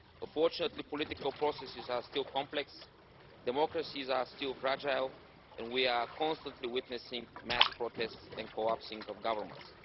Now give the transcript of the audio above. Unfortunately political processes are still complex, democracies are still fragile, and we are constantly witnessing mass protests and the collapse of governments.